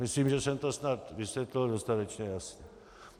Myslím, že jsem to snad vysvětlil dostatečně jasně.